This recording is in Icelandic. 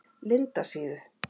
Lindasíðu